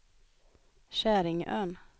Käringön